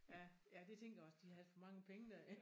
Ja ja det tænkte jeg også de havde alt for mange penge dér ik?